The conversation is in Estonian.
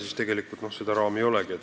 Nii et seda ruumi ei olegi.